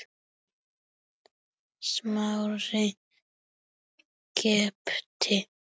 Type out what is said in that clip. Smári gapti.